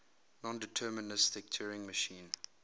nondeterministic turing machine